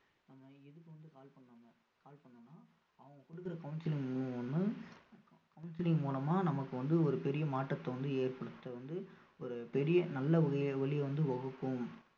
ஆஹ் இதுக்கு வந்து call பண்ணோம்னா call பண்ணோம்னா அவங்க குடுக்குற counselling counselling மூலமா நமக்கு வந்து ஒரு பெரிய மாற்றத்தை வந்து ஏற்படுத்த வந்து ஒரு பெரிய நல்ல வந்து வகுக்கும்